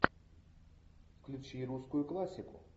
включи русскую классику